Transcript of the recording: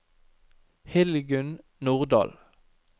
Hildegunn Nordal